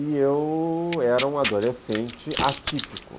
E eu era um adolescente atípico.